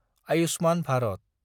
Ayushman Bharat